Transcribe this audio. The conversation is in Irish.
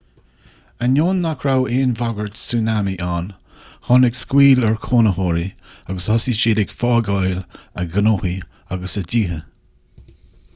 ainneoin nach raibh aon bhagairt súnámaí ann tháinig scaoll ar chónaitheoirí agus thosaigh siad ag fágáil a ngnóthaí agus a dtíthe